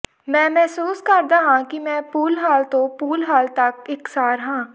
ਮੈਂ ਮਹਿਸੂਸ ਕਰਦਾ ਹਾਂ ਕਿ ਮੈਂ ਪੂਲ ਹਾਲ ਤੋਂ ਪੂਲ ਹਾਲ ਤੱਕ ਇਕਸਾਰ ਹਾਂ